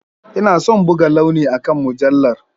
Ina son buga launi akan mujallar.